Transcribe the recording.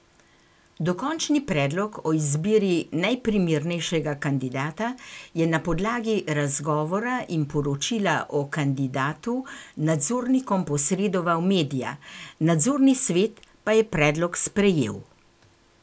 Dokončni predlog o izbiri najprimernejšega kandidata je na podlagi razgovora in poročila o kandidatu nadzornikom posredoval Medja, nadzorni svet pa je predlog sprejel.